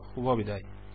শুভবিদায়